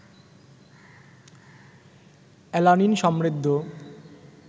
alanine সমৃদ্ধ